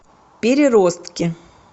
переростки